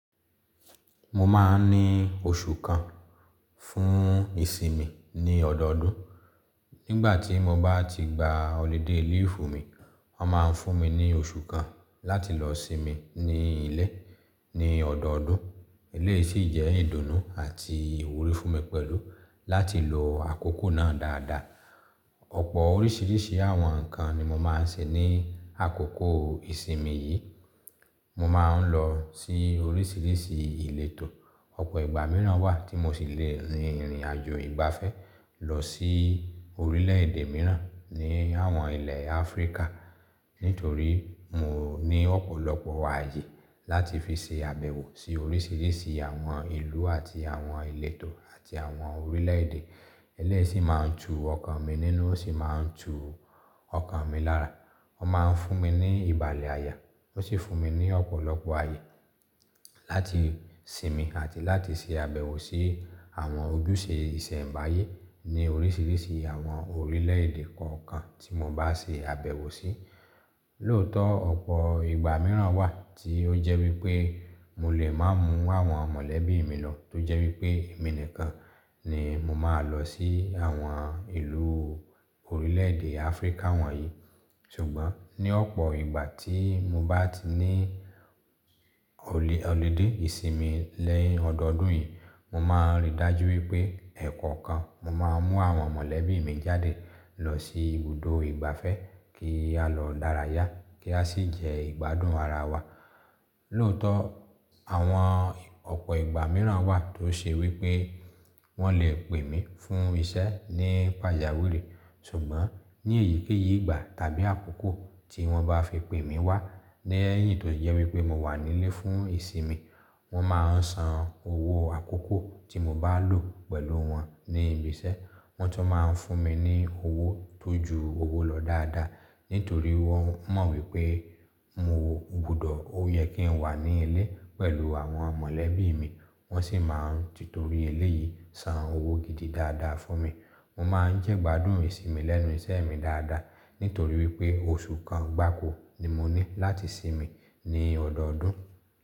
Mo máa ń ní oṣù kan fún ìsinmi ní ọdọọdún. Nígbà tí mo bá ti gba holiday liifu mi, wọ́n máa fún mi ní oṣù kan láti lọ sinmi ní ilé ní ọdọọdún. Eleyìí sì jẹ́ ìdùnnú àti ìwúrí fún mi pẹ̀lú láti lo àkókò náà dáadáa. Ọ̀pọ̀ oríṣìíríṣìí àwọn nǹkan ni mo máa ń ṣe ní àkókò ìsinmi yìí. Mo máa ń lọ sí oríṣìíríṣìí ìletò. Ọ̀pọ̀ ìgbà mìíràn wà tí mo ṣì lè rìn ìrìnàjò ìgbafẹ́ lọ sí orílẹ̀ èdè mìíràn ní àwọn ilẹ̀ Áfríkà nítorí mo ní ọ̀pọ̀lọpọ̀ ààyè láti fi ṣe àbẹ̀wò sí oríṣìíríṣìí àwọn ìlú àti àwọn ìletò àti àwọn orílẹ̀ èdè. Eleyìí sì máa ń tu ọkàn mi nínú ó sì máa ń tu ọkàn mi lára. Wọ́n máa ń fún mi ní ìbàlẹ̀ àyà, ó sì fún mi ní ọ̀pọ̀lọpọ̀ ààyè láti sinmi àti láti ṣe àbẹ̀wò sí àwọn ojúṣe ìsẹ̀ǹbáyé ní oríṣìíríṣìí àwọn orílẹ̀èdè kọ̀ọ̀kan tí mo bá ṣe àbẹ̀wò sí. Lóòótọ́, ọ̀pọ̀ ìgbà mìíràn wà tí ó jẹ́ wípé mo lè má mú àwọn mọ̀lẹ́bí mi lọ, tó jẹ́ wípé èmi nìkan ni mo máa lọ sí àwọn ìlú orílẹ̀ èdè Áfríkà wọ̀nyí. Ṣùgbọ́n ní ọ̀pọ̀ ìgbà tí mo bá ti ní holiday ìsinmi lẹ́yìn ọdọọdún yìí, mo máa rí dájú wípé ẹ̀ẹ̀kọ̀kan mo máa mú àwọn mọ̀lẹ́bí mi jáde lọ sí ibùdó ìgbafẹ́ kí a lọ dárayá, kí a sì jẹ ìgbádùn ara wa. Lóòótọ́, àwọn ọ̀pọ̀ ìgbà mìíràn wà tó ṣe wípé wọ́n lè pè mí fún iṣẹ́ ní pàjáwìrì. Ṣùgbọ́n ní èyíkéyìí ìgbà tàbí àkókò tí wọ́n bá fi pè mí wá lẹ́yìn tó jẹ́ wípé mo wà nílé fún ìsinmi, wọ́n máa san owó àkókò tí mo bá lò pẹ̀lú wọn ní ibi iṣẹ́. Wọ́n tun máa ń fún mi ní owó tó ju owó lọ dáadáa nítorí wọ́n mọ̀ wípé mo gbọdọ̀ ó yẹ kí n wà ní ilé pẹ̀lú àwọn mọ̀lẹ́bí mi. Wọ́n sì máa ń ti torí ilé yìí san owó gidi dáadáa fún mi. Mo máa ń jẹ ìgbádùn ìsinmi lẹ́nu iṣẹ́ mi dáadáa nítorí wípé oṣù kan gbákò ni mo ní láti sinmi ní ọdọọdún.